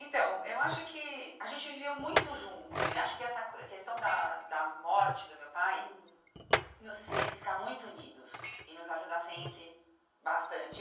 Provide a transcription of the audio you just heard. Então, eu acho que a gente viveu muito junto e acho que essa questão da da morte do meu pai hum nos fez ficar muito unidos e nos ajudar sempre bastante.